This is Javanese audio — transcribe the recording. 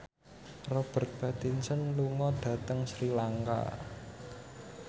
Robert Pattinson lunga dhateng Sri Lanka